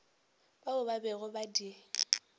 bao ba bego ba di